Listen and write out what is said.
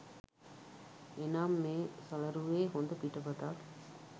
එනම් මේ සලරුවේ හොඳ පිටපතක්